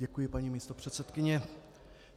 Děkuji, paní místopředsedkyně.